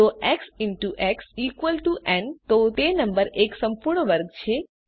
જો x into x equal to n તો તે નંબર એક સંપૂર્ણ વર્ગ છે